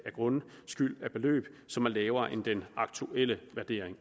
og grundskyld af et beløb som er lavere end den aktuelle vurdering